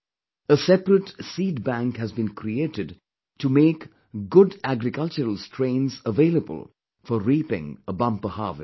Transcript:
A separate seed bank has been created to make good agricultural strains available for reaping a bumper harvest